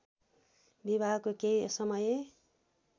विवाहको केही समय